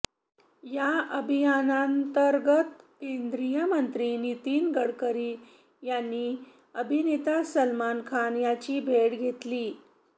या अभियानांतर्गत केंद्रीय मंत्री नितीन गडकरी यांनी अभिनेता सलमान खान याची भेट घेतली